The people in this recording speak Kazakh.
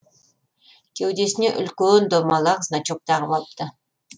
кеудесіне үлкен домалақ значок тағып алыпты